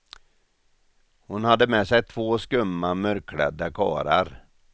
Hon hade med sig två skumma mörkklädda karlar.